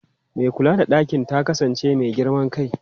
Mai kula da ɗakin ta kasance mai girman kai.